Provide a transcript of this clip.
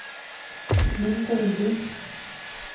mindre vindu